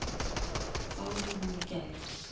hváði hún í gær.